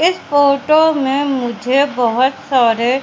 इस फोटो में मुझे बहोत सारे--